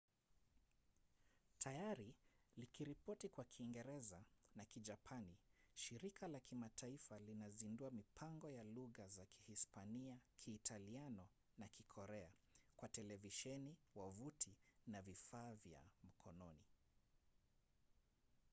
tayari likiripoti kwa kiingereza na kijapani shirika la kimataifa linazindua mipango ya lugha za kihispania kiitaliano na kikorea kwa televisheni wavuti na vifaa vya mkononi